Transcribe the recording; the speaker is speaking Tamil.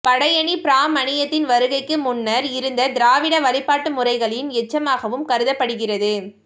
படயணி பிராமணியத்தின் வருகைக்கு முன்னர் இருந்த திராவிட வழிபாட்டு முறைகளின் எச்சமாகவும் கருதப்படுகிறது